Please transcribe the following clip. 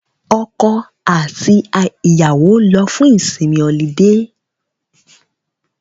Ọkọ àti ìyàwó lọ fún ìsinmi ọlidé